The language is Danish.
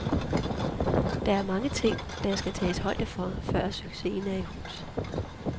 Der er mange ting, der skal tages højde for, før succesen er i hus.